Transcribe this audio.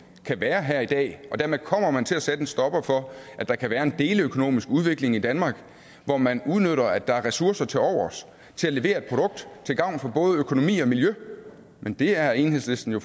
kan være her i dag og dermed kommer man til at sætte en stopper for at der kan være en deleøkonomisk udvikling i danmark hvor man udnytter at der er ressourcer til overs til at levere et produkt til gavn for både økonomi og miljø men det er enhedslisten jo